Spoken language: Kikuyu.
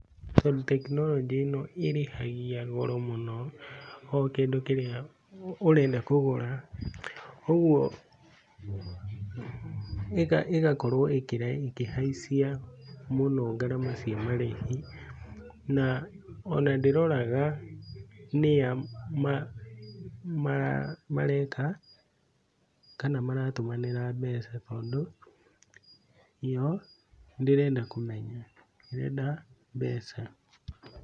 Tondũ tekinoronjĩ ĩno ĩrĩhagia goro mũno o kĩndũ kĩrĩa ũrenda kũgũra, ũguo ĩgakorwo ĩkĩhaicia mũno ngarama cia marĩhi na ona ndĩroraga nĩa mareka kana maratũmanĩra mbeca tondũ ĩyo ndĩrenda kũmenya, ĩrenda mbeca.